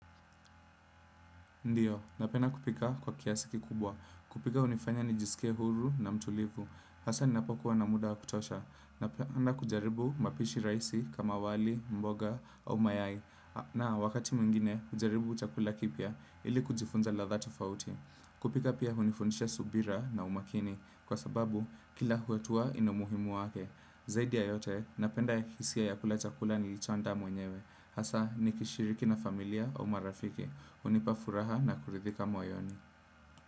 Ndiyo napenda kupika kwa kiasi kikubwa. Kupika hunifanya nijisike huru na mtulivu. Hasa ninapokuwa na muda kutosha. Na kujaribu mapishi rahisi kama wali, mboga o mayai. Na wakati mwingine, kujaribu chakula kipya ili kujifunza ladha tofauti. Kupika pia hunifunisha subira na umakini. Kwa sababu, kila hatua ina umuhimu wake. Zaidi ya yote, napenda hisia ya kula chakula nilicho andaa mwenyewe. Hasa, nikishiriki na familia au marafiki. Unipa furaha na kuridhika moyoni.